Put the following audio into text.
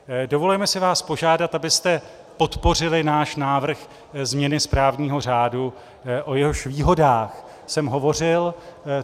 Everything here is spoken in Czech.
Dovolujeme si vás požádat, abyste podpořili náš návrh změny správního řádu, o jehož výhodách jsem hovořil.